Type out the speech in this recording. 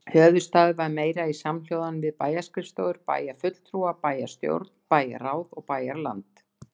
Höfuðstaður var meira í samhljóðan við bæjarskrifstofur, bæjarfulltrúa, bæjarstjórn, bæjarráð og bæjarland.